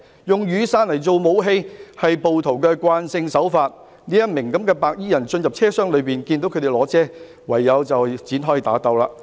"——用雨傘作武器是暴徒慣用手法——一名白衣人進入車廂內，看到他們手持雨傘，便唯有與對方展開打鬥。